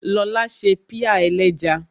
Lóla ṣe pie ẹlẹ́ja